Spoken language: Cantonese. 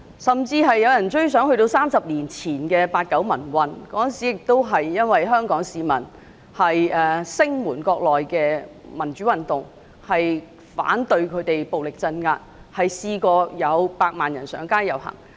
甚至有人追溯至30年前的八九民運，當時香港市民聲援國內的民主運動，反對當局暴力鎮壓，有百萬人上街遊行。